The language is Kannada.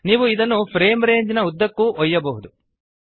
ನೀವು ಇದನ್ನು ಫ್ರೇಮ್ ರೇಂಜ್ನ ಉದ್ದಕ್ಕೂ ಒಯ್ಯಬಹುದು